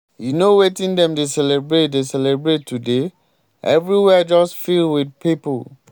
you no wetin dem dey celebrate dey celebrate today? everywhere just fill with people.